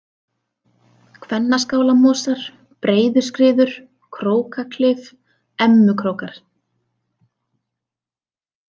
Kvennaskálamosar, Breiðuskriður, Krókaklif, Emmukrókar